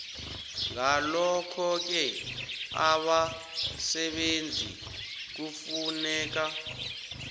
ngalokhoke abasebenzi kufuneka